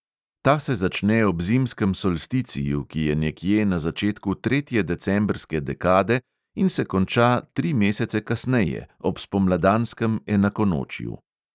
Ta se začne ob zimskem solsticiju, ki je nekje na začetku tretje decembrske dekade in se konča tri mesece kasneje, ob spomladanskem enakonočju.